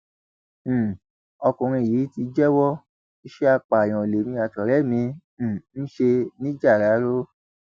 um ọkùnrin yìí ti jẹwọ iṣẹ apààyàn lèmi àtọrẹ mi um ń ṣe nìjáràró